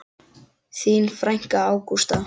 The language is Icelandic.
Þín frænka, Ágústa.